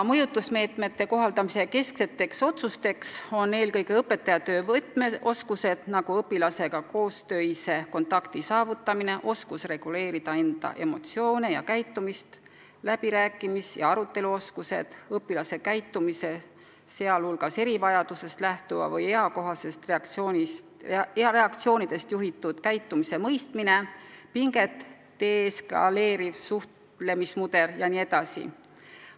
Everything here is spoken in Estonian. Mõjutusmeetmete kohaldamisel on tähtsaimad eelkõige õpetajatöö võtmeoskused, nagu õpilastega kontakti saavutamine, võime oma emotsioone ja käitumist vaos hoida, läbirääkimis- ja aruteluoskused, õpilase käitumise, sh erivajadusest või eakohastest reaktsioonidest tuleneva käitumise mõistmine, pinget alandav suhtlemismudel jne.